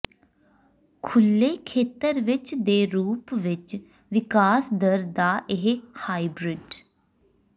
ਖੁੱਲ੍ਹੇ ਖੇਤਰ ਵਿੱਚ ਦੇ ਰੂਪ ਵਿੱਚ ਵਿਕਾਸ ਦਰ ਦਾ ਇਹ ਹਾਈਬ੍ਰਿਡ